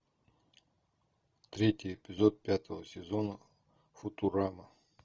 третий эпизод пятого сезона футурама